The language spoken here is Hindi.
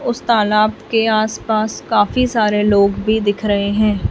उस तालाब के आसपास काफी सारे लोग भी दिख रहे हैं।